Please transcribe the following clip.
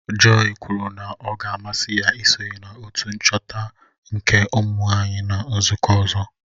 Joy kwuru na ọ ga-amasị ya isonye na otu nchọta nka ụmụnwaanyị na nzụkọ ọzọ